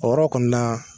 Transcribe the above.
O yɔrɔ kɔni na